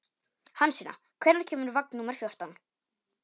Hansína, hvenær kemur vagn númer fjórtán?